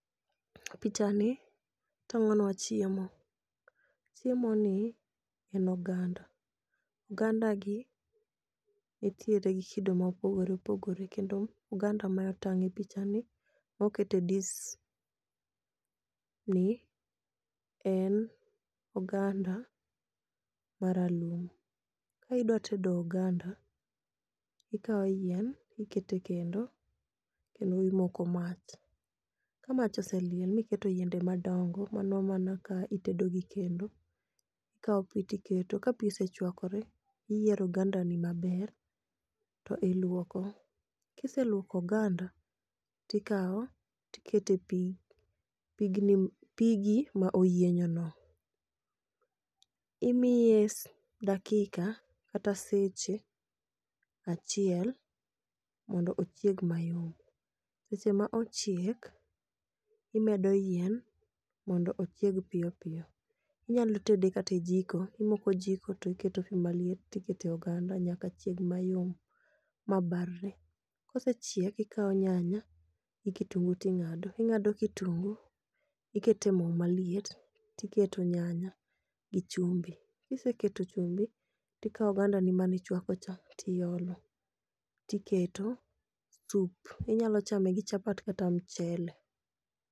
Pichani tang'o nwa chiemo, chiemoni en oganda. Ogandagi nitiere gi kido ma opogore opogore kendo oganda ma otang' e pichani moket e disni en oganda maralum. Ka idwa tedo oganda, ikawo yien iketo e kendo, kendo imoko mach. Ka mach oseliel ma iketo yiende madongo, mano mana ka itedo gi kendo. Ka tiketo, ka pi osechwakore, iyiero ogandani maber to ilwoko. Kiselwoko oganda, tikawo tiketo e pi, pigi ma oyienyono. Imiye dakika kata seche achiel mondo ochieg mayom. Seche ma ochiek, imedo yien mondo ochieg piyo piyo. Inyalo tede kata e jiko, imoko jiko to iketo pi maliet to ikete oganda nyaka chieg mayom ma barre. Kosechiek, ikawo nyanya gi kitungu ting'ado. ing'ado kitungu, ikete mo maliet tiketo nyanya gi chumbi. Kiseketo chumbi, tikawo ogandani mani chwakocha, tiolo, tiketo sup, inyalo chame gi chapat kata mchele.